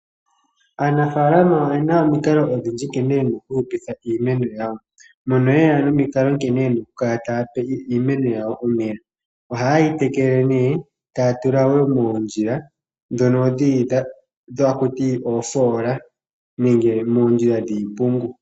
Aanafalama oyena omikalo odhindji nkene yena oku hupitha iimeno yawo, noha yeya nomikalo nkene taa tekele iimeno yawo, ohaa tekele nee taa tula moondjila dhono dhili haku tiwa oofoola nenge moondjila dhiipungu.